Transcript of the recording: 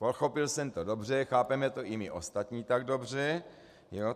Pochopil jsem to dobře, chápeme to i my ostatní tak dobře.